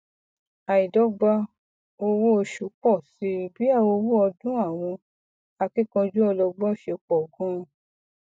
àìdọgba owóoṣù pọ síi bí owó ọdún àwọn akíkanjú ọlọgbọn ṣe pọ ganan